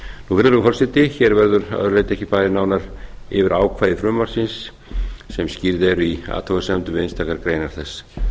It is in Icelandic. virðulegi forseti hér verður að öðru leyti ekki farið nánar yfir ákvæði frumvarpsins sem skýrð eru í athugasemd við einstakar greinar þess